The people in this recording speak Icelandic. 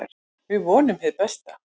Við vonum hið besta.